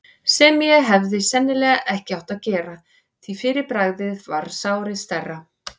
sem ég hefði sennilega ekki átt að gera, því fyrir bragðið varð sárið stærra.